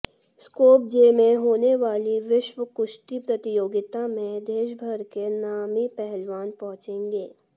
Skopje में होने वाली विश्व कुश्ती प्रतियोगिता में देश भर के नामी पहलवान पहुंचेंगे